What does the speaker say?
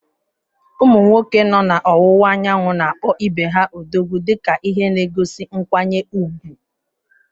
Ụmụ nwoke nọ n’Ọwụwa Anyanwụ na-akpọ ibe ha “Odogwu” dị ka ihe na-egosi nkwanye ùgwù.